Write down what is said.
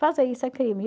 Fazer isso é crime.